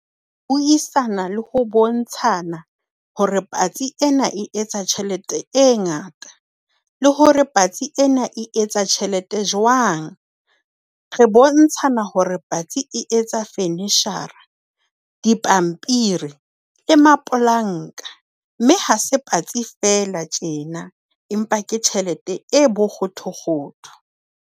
Buisana le ho bontshana hore patsi ena e etsa tjhelete e ngata le hore patsi ena e etsa tjhelete jwang. Re bontshana hore patsi e etsa fenishara, dipampiri, le mapolanka. Mme ha se patsi feela tjena, empa ke tjhelete e bokgothokgotho.